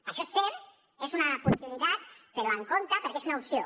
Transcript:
això és cert és una possibilitat però amb compte perquè és una opció